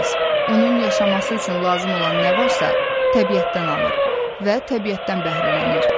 Onun yaşaması üçün lazım olan nə varsa, təbiətdən alır və təbiətdən bəhrələnir.